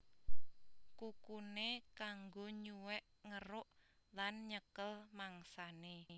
Kukuné kanggo nyuwèk ngeruk lan nyekel mangsané